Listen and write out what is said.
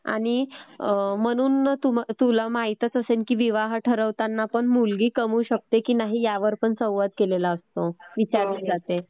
आणि म्हणून तुला माहीतच असेल की विवाह ठरवत असतानाही मुलगी कमवू शकते की नाही ह्यावरही संवाद केलेला असतो, विचारलं जातं.